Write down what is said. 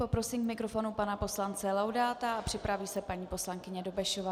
Poprosím k mikrofonu pana poslance Laudáta a připraví se paní poslankyně Dobešová.